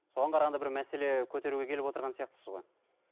соған қарағанда бір мәселе көтеруге келіп отырған сияқтысыз ғой